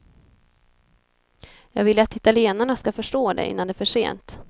Jag vill att italienarna skall förstå det innan det är för sent.